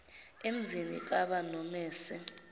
emzini kab nomese